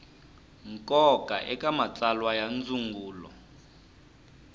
nkoka eka matsalwa ya ndzungulo